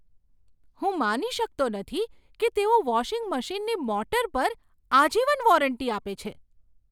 હું માની શકતો નથી કે તેઓ વોશિંગ મશીનની મોટર પર આજીવન વોરંટી આપે છે.